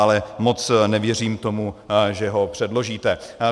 Ale moc nevěřím tomu, že ho předložíte.